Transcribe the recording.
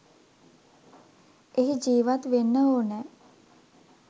එහි ජීවත් වෙන්න ඕනෑ.